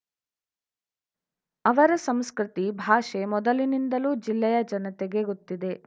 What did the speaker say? ಅವರ ಸಂಸ್ಕೃತಿ ಭಾಷೆ ಮೊದಲಿನಿಂದಲೂ ಜಿಲ್ಲೆಯ ಜನತೆಗೆ ಗೊತ್ತಿದೆ